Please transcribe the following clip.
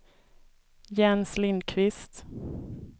Jens Lindkvist